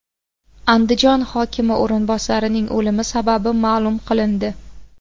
Andijon hokimi o‘rinbosarining o‘limi sababi ma’lum qilindi.